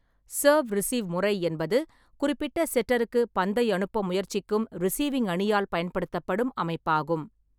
Serve receive முறை என்பது குறிப்பிட்ட செட்டருக்கு பந்தை அனுப்ப முயற்சிக்கும் ரிசீவிங் அணியால் பயன்படுத்தப்படும் அமைப்பாகும்.